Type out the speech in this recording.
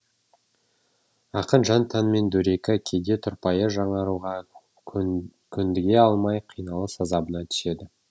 ақын жан тәнімен дөрекі кейде тұрпайы жаңаруға көндіге алмай қиналыс азабына түседі